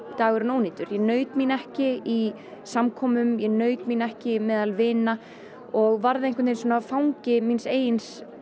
dagurinn ónýtur ég naut mín ekki í samkomum ég naut mín ekki meðal vina og varð fangi míns eigin